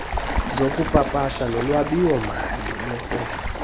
zokupapasha nolwabiwomali lwesebe